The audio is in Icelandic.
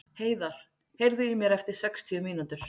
Heiðar, heyrðu í mér eftir sextíu mínútur.